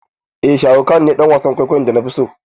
Eh sharukh khan ne dan wasan kwaikwayon da nafi so.